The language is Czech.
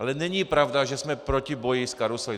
Ale není pravda, že jsme proti boji s karusely.